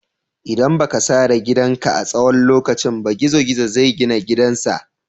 ldan ba ka sare gidan ka a tsawon lokaci ba, gizo-gizo zai gina gidan sa.